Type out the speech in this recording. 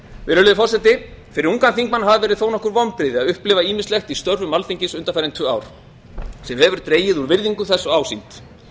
virðulegi forseti fyrir ungan þingmann hafa verið þó nokkur vonbrigði að upplifa ýmislegt í störfum alþingis undanfarin tvö ár sem hefur dregið úr virðingu þess og ásýnd